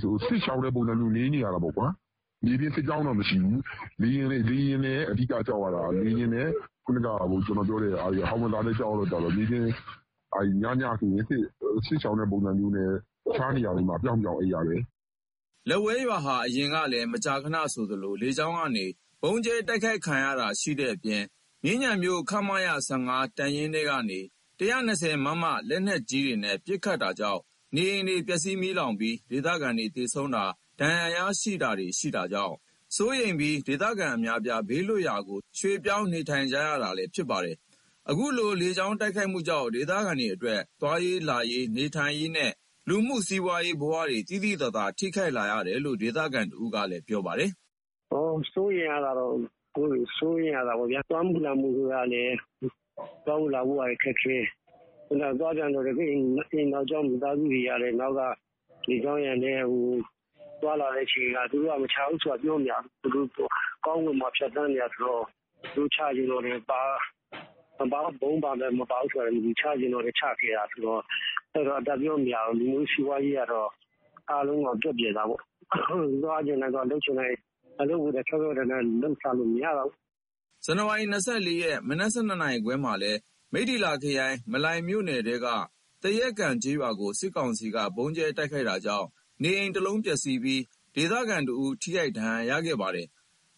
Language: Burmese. စစ်ရှောင်တဲ့ ပုံစံမျိုးနေ နေရတာပေါ့။ မြေပြင်စစ်ကြောင်းတော့ မရှိဘူး။ လေယာဉ်နဲ့ ဟောင်ဝစ်ဇာနဲ့ ကြောက်ရတော့ ညညဆို စစ်ရှောင်တဲ့ ပုံစံမျိုးနဲ့ တခြားနေရာတွေ ပြောင်းပြောင်း အိပ်ရတယ်။" လက်ဝဲရွာဟာ အရင်ကလည်း မကြာခဏ လေကြောင်းက ဗုံးကြဲ တိုက်ခိုက်ခံရတာ ခံရတဲ့အပြင် မြင်းခြံမြို့ ခမရ(၁၅) တပ်ရင်းထဲကနေ ၁၂၀ မမ လက်နက်ကြီးတွေနဲ့ ပစ်ခတ်တာကြောင့် နေအိမ်တွေ ပျက်စီး မီးလောင်ပြီး ဒေသခံတွေ သေဆုံးတာ၊ ဒဏ်ရာရတာတွေ ရှိတာကြောင့် စိုးရိမ်ပြီး ဒေသခံ အများအပြား ဘေးလွတ်ရာနေရာတွေ ရွှေ့ပြောင်း နေထိုင်ကြတာလည်း ဖြစ်ပါတယ်။ အခုလို လေကြောင်း တိုက်ခိုက်မှုတွေကြောင့် ဒေသခံတွေအတွက် သွားလာနေထိုင်ရေးနဲ့ လူမှုစီးပွားဘဝတွေ သိသိသာသာ ထိခိုက်ရတယ်လို့ ဒေသခံ တဦးက ပြောပါတယ်။ "စိုးရိမ်ရတာက စိုးရိမ်ရတာပေါ့ဗျာ။ သွားမှုလာမှုကလည်း ခက်ခဲ သွားပြန်တော့လည်း နောက်ကမိသားစုတွေက လေကြောင်းရန်နဲ့ သွားလာတဲ့အချိန် သူတို့က မချဘူးဆိုတာ ပြောမရဘူးလေ။ ကောင်းကင်ပေါ်က ဖြတ်သန်းနေတာ ဆိုတော့။ သူတို့ချချင်ရင် ဗုံးပါတယ် မပါဘူးဆိုတာလည်း မသိဘူး။ သူတို့ချချင်ရင် ချခဲ့တာဆိုတော့ အတပ်ပြောမရဘူး။ လူမှုစီးပွားရေးကတော့ အားလုံးတော့ ပျက်ပျယ်တာပေါ့။ သွားချင်တိုင်း သွားမရ။ အလုပ်ကိုလည်း ဖြောင့်ဖြောင့်တန်းတန်း လုပ်စားမရပါဘူး။" ဇန်နဝါရီ ၂၄ ရက် မနက် ၁၂ ခွဲကလည်း မိထ္ထီလာ ခရိုင် မလှိုင်မြို့နယ်ထဲက သရက်ကန် ကျေးရွာကို စစ်ကောင်စီက ဗုံးကြဲ တိုက်ခိုက်တာကြောင့် နေအိမ် ၁ လုံးပျက်စီးပြီး ဒေသခံတဦး ထိခိုက်ခဲ့ပါသေးတယ်